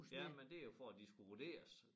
Ja men det jo for at de skulle vurderes